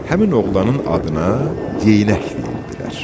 Həmin oğlanın adına Yeynək deyirdilər.